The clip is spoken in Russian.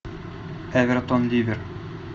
эвертон ливер